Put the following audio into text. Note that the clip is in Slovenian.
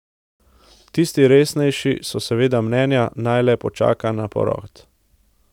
Tisti resnejši so seveda mnenja, naj le počaka na porod.